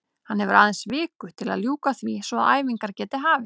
Hann hefur aðeins viku til að ljúka því svo að æfingar geti hafist.